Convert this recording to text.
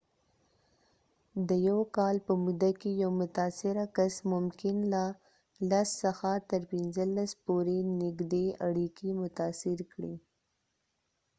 د یو کال په موده کې، یو متاثره کس ممکن له ۱۰ څخه تر ۱۵ پورې نږدې اړیکې متاثر کړي